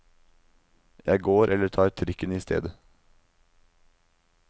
Jeg går eller tar trikken i stedet.